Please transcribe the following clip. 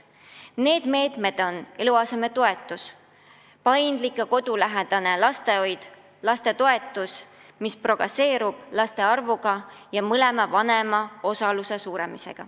Need meetmed on eluasemetoetus, paindlik ja kodulähedane lastehoid, lapsetoetus, mis progresseerub vastavalt laste arvule, ja mõlema vanema osaluse suurenemine.